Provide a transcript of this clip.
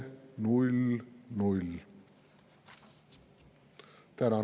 Tänan!